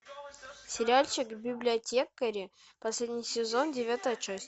сериальчик библиотекари последний сезон девятая часть